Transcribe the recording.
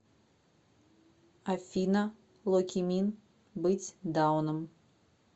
афина локимин быть дауном